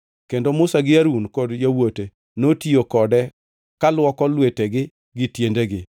Kendo Musa gi Harun kod yawuote notiyo kode kaluoko lwetegi gi tiendegi.